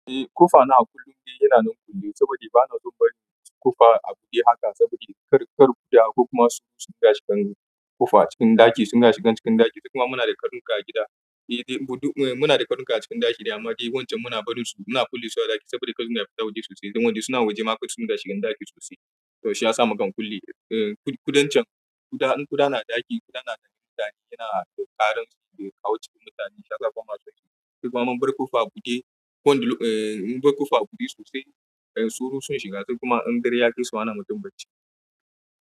Eh ƙofa na a kullum de yana nan kulli saboda bana so bari ƙofa a buɗe haka sabida kar, kar ƙuda ko kuma tsoro sun da shigan ƙofa cikin ɗaki suna shigan cikin ɗaki sakamakana muna da karnuka a gida. Eh, muna da karnuka a cikin ɗaki dama wancan muna barin su muna kulle su a ɗaki saboda karnuka na fita waje sosai don waje suna waje ma kar su shiga cikin ɗaki sosai. To shi ya sa mukan kulle, eh kudancan, in ƙuda na ɗaki ƙuda na dani yana ƙaransa da kawo cikin mutane shaƙatawar masu ciki. Kuma in bar ƙofa a buɗe, in bar ƙofa a buɗe sosai tsoro sun shiga sakamakon in dare ya kai su ana mutu bacci.